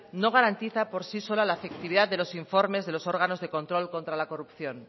no garantiza por sí sola la efectividad de los informes de los órganos de control contra la corrupción